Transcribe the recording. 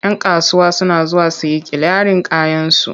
Yan kasuwa suna zuwa su yi kiliyarin kayansu.